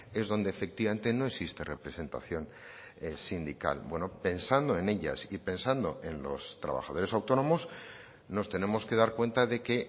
es donde efectivamente no existe representación sindical bueno pensando en ellas y pensando en los trabajadores autónomos nos tenemos que dar cuenta de que